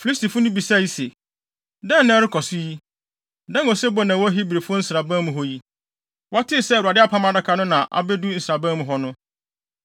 Filistifo no bisae se, “Dɛn na ɛrekɔ so yi? Dɛn osebɔ na ɛwɔ Hebrifo nsraban mu hɔ yi?” Wɔtee sɛ Awurade Apam Adaka no na abedu nsraban mu hɔ no,